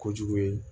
Kojugu ye